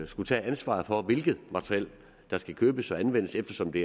skulle tage ansvaret for hvilket materiel der skal købes og anvendes eftersom det